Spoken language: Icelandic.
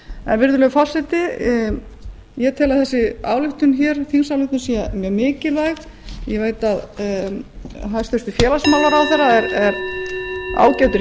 en virðulegi forseti ég tel að þessi ályktun hér þingsályktun sé mjög mikilvæg ég veit að hæstvirtur félagsmálaráðherra er ágætur